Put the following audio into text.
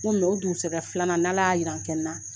Walima o dugusajɛ filanan ni ala ya yira an kɛnɛ na.